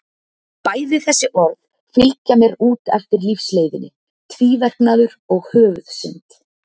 Bæði þessi orð fylgja mér út eftir lífsleiðinni, tvíverknaður og höfuðsynd.